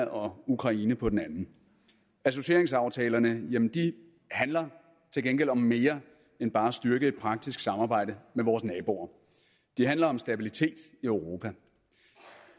og ukraine på den anden associeringsaftalerne handler til gengæld om mere end bare at styrke et praktisk samarbejde med vores naboer de handler om stabilitet i europa